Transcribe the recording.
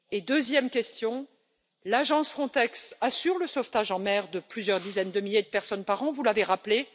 Deuxième question l'agence Frontex assure le sauvetage en mer de plusieurs dizaines de milliers de personnes par an, vous l'avez rappelé.